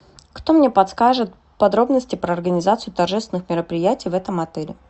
кто мне подскажет подробности про организацию торжественных мероприятий в этом отеле